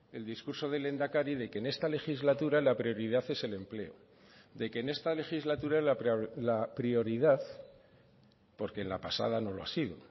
el discurso del lehendakari de que en esta legislatura la prioridad es el empleo de que en esta legislatura la prioridad porque en la pasada no lo ha sido